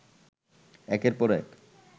একের পর এক